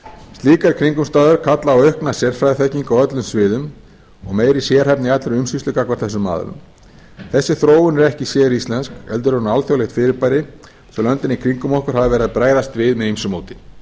slíkar kringumstæður kalla á aukna sérfræðiþekkingu á öllum sviðum og meiri sérhæfni í allri umsýslu gagnvart þessum aðilum þessi þróun er ekki séríslensk heldur er hún alþjóðlegt fyrirbæri sem löndin í kringum okkur hafa verið að bregðast við með ýmsu móti